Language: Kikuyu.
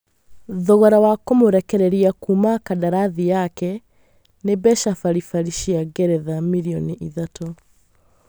Thogora wa kũmũrekereria Kuuma kandarathi yake nĩ mbeca baribari cia ngeretha milioni ithatũ